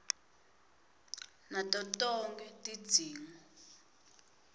nato tonkhe tidzingo